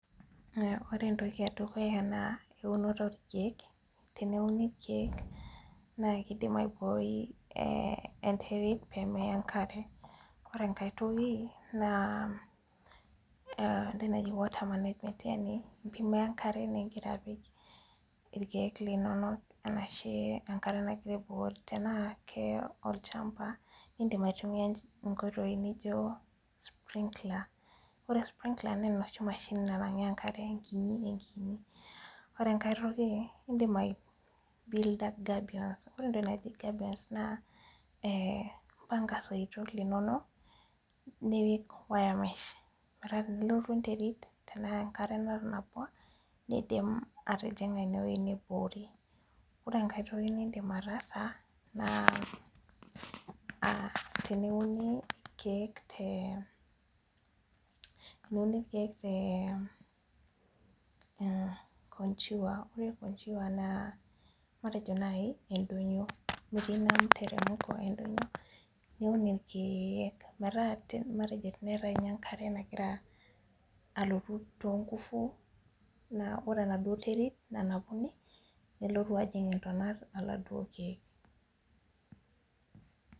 Ore entoki edukuya naa eunoto oo keek teneuni irkeek naa kidim aiboi enterit pee meya enkare ore enkae toki naa tenejing water management yaani pee iya enkare nagira ajing irkeek linonok arashu enkare nagira aibukori tenaa keya olchamba nidim aitumia nkoitoi naijo spring laller ore spring laller naa enoshi mashini naibukoo enkare ekinyi ekinyi ore ekae toki idim aibulda gabions ore entoki naaji gabions naa eh impanga isoitok linonok nipik wiremesh metaa ore tenelotu enterit tenaa enkare natanapua nidim atijinga ine wueji niboori ore enkae toki nidim attasa naa ah teneuni irkeek te eh konjiwa ore konjiwa naa matejo naaji edonyio niuun irkeek matejo teneatae enkare nagira alotu too nguvu naa ore enaduo nterit nanapunu nelotu ajing ntonat oladuo nkeek .